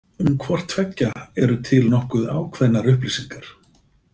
Um hvort tveggja eru til nokkuð ákveðnar upplýsingar.